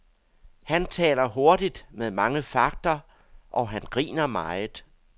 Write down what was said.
Han taler hurtigt med mange fagter, og han griner meget.